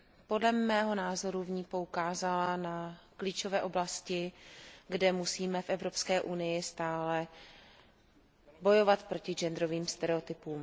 Podle mého názoru v ní poukázala na klíčové oblasti, kde musíme v Evropské unii stále bojovat proti genderovým stereotypům.